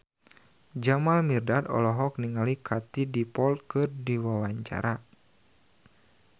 Jamal Mirdad olohok ningali Katie Dippold keur diwawancara